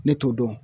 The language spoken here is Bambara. Ne t'o dɔn